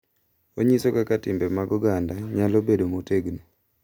Onyiso kaka timbe mag oganda nyalo bedo motegno